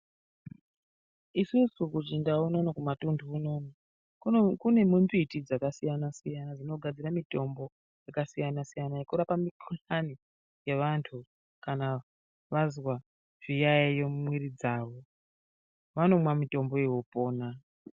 Isusu kuchindau unono kumatuntu unoo. Kune mumbiti dzakasiyana-siyana dzinogadzira mitombo yakasiyana-siyana yekurapa mikuhlani yevantu. Kana vantu vazwa zviyaiyo mumwiri dzavo, vanomwa mitombo iyoyo vopona.